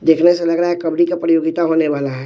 देखने से लग रहा है कबड्डी का प्रतियोगिता होने वाला है।